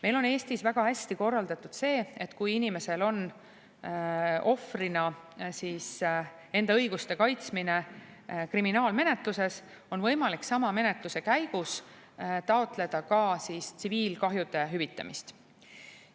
Meil on Eestis väga hästi korraldatud see, et kui inimesel on ohvrina enda õiguste kaitsmine kriminaalmenetluses, on võimalik sama menetluse käigus taotleda ka tsiviilkahjude hüvitamist.